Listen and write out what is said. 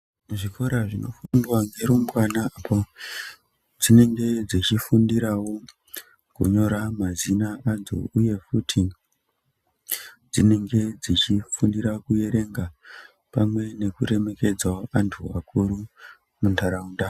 Kuzvikora zvinofundwa ngerumbwana apo dzinenge dzichifundirawo kunyora mazina adzo uye futi dzinenge dzichifundira kuerenga pamwe nekuremekedzawo antu akuru muntaraunda.